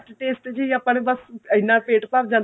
taste ਚ ਆਪਣਾ ਬੱਸ ਇੰਨਾ ਪੇਟ ਭਰ ਜਾਂਦਾ